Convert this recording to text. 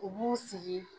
U b'u sigi